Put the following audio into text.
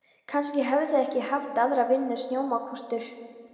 Kannski höfðu þeir ekki haft aðra vinnu en snjómokstur.